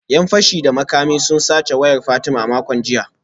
‘Yan fashi da makami sun sace wayar Fatima a makon jiya